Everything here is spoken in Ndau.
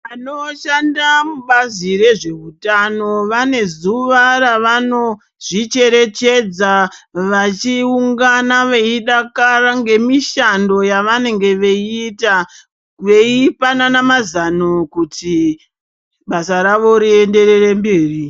Vanoshanda mubazi rezveutano vanezuwa ravanozvicherechedza vachiungana veidakara ngemishando yavanenge veiita veipanana mazano kuti basa ravo rienderere mberi.